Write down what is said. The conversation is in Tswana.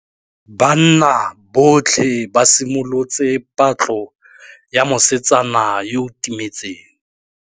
Banna botlhê ba simolotse patlô ya mosetsana yo o timetseng.